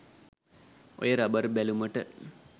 ඔය රබර් බැලුමට